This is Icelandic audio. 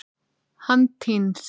Hann týnst?